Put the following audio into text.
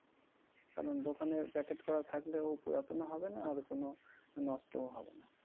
কারণ দোকানে packet করা থাকলেও পুরাতনও হবে না আর কোনো নষ্টও হবে না।